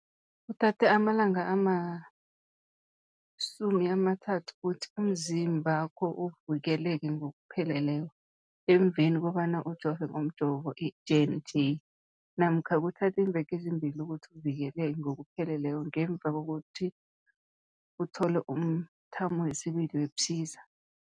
Kuthatha amalanga ama-30 ukuthi umzimbakho uvikeleke ngokupheleleko emveni kobana ujove ngomjovo i-J and J namkha kuthatha iimveke ezimbili ukuthi uvikeleke ngokupheleleko ngemva kobana uthole umthamo wesibili wePfizer.